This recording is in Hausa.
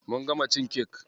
Mun gama cin kek.